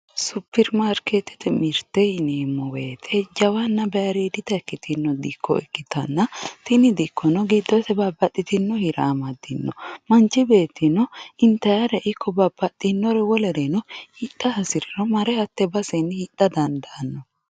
superimaarikeettete mirte yineemmo woyiite jawanna bayiiriidita ikkitino dikko ikkitanna tini dikkono giddose babbaxxitino hira amaddino. manchi beettino intayiire ikko babbaxxinore wolereno hidha hasiriro mare hatte basenni hidha dandaanno.